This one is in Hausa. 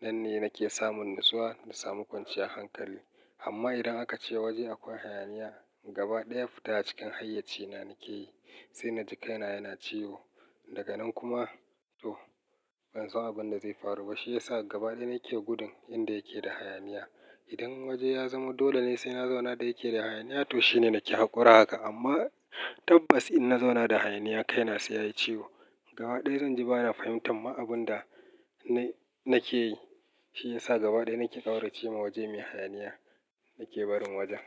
Nan ne nake samun natsuwa da samu kwanciyan hankali. Amma idan aka ce waje akwai hayaniya, gaba ɗaya fita cikin hayyaci na nake yi, sai na jikaina yana ciwo. Daga nan kuma to ban san abin da zai faru ba. Shi ya sa gaba ɗaya nake gudun inda yake da hayaniya. Idan waje ya zamo dole ne sai na zauna da yake da hayaniya to shine nake haƙura haka. Amma tabbas in na zauna da hayaniya kai na sai yayi ciwo. Gaba ɗaya zan ji bana fahimtar ma abun da na nake yi. Shi ya sa gaba ɗaya nake ƙaura cewa waje mai hayaniya nake barin wajen.